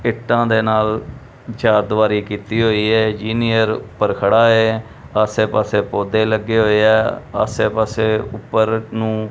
ਇੱਟਾਂ ਦੇ ਨਾਲ ਚਾਰਦੀਵਾਰੀ ਕੀਤੀ ਹੋਈ ਹੈ ਇੰਜੀਨੀਅਰ ਊਪਰ ਖੜਾ ਹੈ ਆਸੇ ਪਾੱਸੇ ਪੌਧੇ ਲੱਗੇ ਹੋਏ ਹੈਂ ਆਸੇ ਪਾੱਸੇ ਊਪਰ ਨੂੰ।